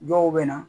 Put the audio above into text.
Dɔw bɛ na